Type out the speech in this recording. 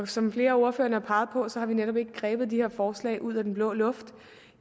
som flere af ordførerne har peget på har vi netop ikke grebet de her forslag ud af den blå luft